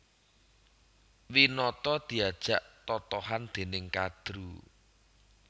Winata diajak totohan dèning Kadru